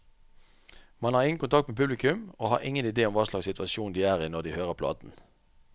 Man har ingen kontakt med publikum, og har ingen idé om hva slags situasjon de er i når de hører platen.